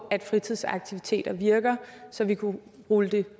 at fritidsaktiviteter virker så vi kunne rulle det